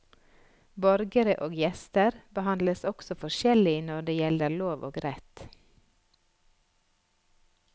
Borgere og gjester behandles også forskjellig når det gjelder lov og rett.